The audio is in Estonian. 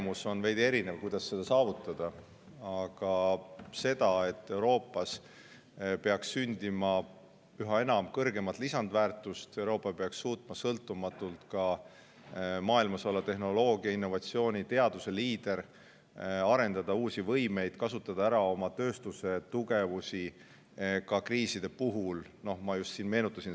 Võib olla veidi erinev nägemus, kuidas seda saavutada, aga, et Euroopas peaks sündima üha enam kõrgemat lisandväärtust ja et Euroopa Liit peaks suutma olla maailmas sõltumatu tehnoloogia, innovatsiooni ja teaduse liider ning suutma arendada uusi võimeid, samuti kasutama ära oma tööstuse tugevusi ka kriiside puhul, nagu ma just siin meenutasin.